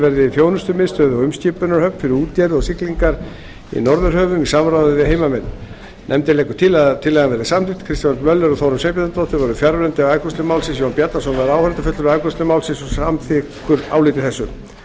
verði þjónustumiðstöð og umskipunarhöfn fyrir útgerð og siglingar í norðurhöfum í samráði við heimamenn nefndin leggur til að tillagan verði samþykkt kristján l möller og þórunn sveinbjarnardóttir voru fjarverandi við afgreiðslu málsins jón bjarnason var áheyrnarfulltrúi við afgreiðslu málsins og er samþykkur áliti þessu